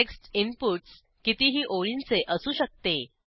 text inputs कितीही ओळींचे असू शकते